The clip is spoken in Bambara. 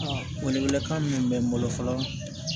wele wele kan min bɛ n bolo fɔlɔ